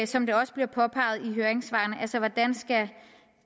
som det også bliver påpeget i høringssvarene hvordan skal